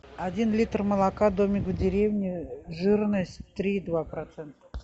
один литр молока домик в деревне жирность три и два процента